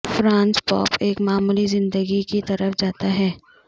Francis pope ایک معمولی زندگی کی طرف جاتا ہے